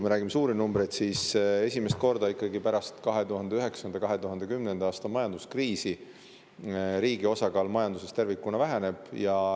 Me räägime suurtest numbritest, aga esimest korda pärast 2009.–2010. aasta majanduskriisi riigi osakaal majanduses tervikuna ikkagi väheneb.